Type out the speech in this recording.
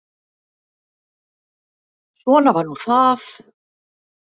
Svona var nú það.